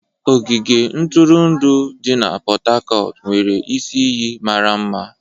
Ogige ntụrụndụ di na Pot Tarcot nwere isi iyi mara mma.